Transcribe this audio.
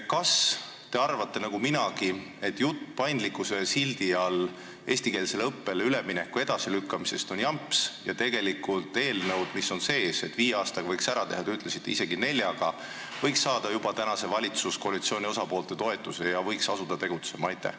Kas te arvate nagu minagi, et jutt paindlikkuse sildi all eestikeelsele õppele ülemineku edasilükkamisest on jamps ja tegelikult eelnõud, mis on menetluses, nii et viie aastaga võiks selle ära teha , võiksid saada juba tänase valitsuskoalitsiooni osapoolte toetuse ja võiks asuda tegutsema?